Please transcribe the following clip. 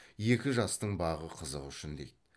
екі жастың бағы қызығы үшін дейді